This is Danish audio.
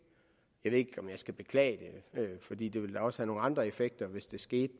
jeg ved ikke om jeg skal beklage det fordi det ville da også have nogle andre effekter hvis det skete